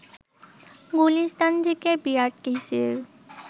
গুলিস্থান থেকে বিআরটিসির